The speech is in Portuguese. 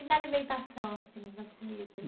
E na alimentação assim, nas comidas?